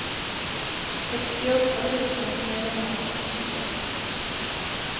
sextioåtta tusen niohundrasextiosex